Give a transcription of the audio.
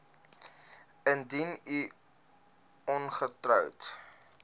indien u ongetroud